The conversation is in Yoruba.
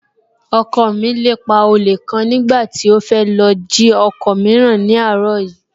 Ọkọ mi lépa olè kan nígbà tí ó fẹ́ lọ jí ọkọ̀ mìíràn ní àárọ̀ yìí